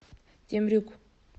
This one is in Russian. темрюк